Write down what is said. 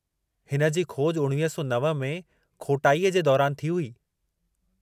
हिन जी खोज 1909 में खोटाईअ जे दौरानि थी हुई।